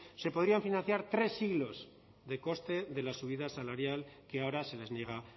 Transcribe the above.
se podrían financiar tres siglos de coste de la subida salarial que ahora se les niega